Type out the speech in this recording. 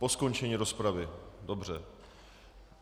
Po skončení rozpravy, dobře.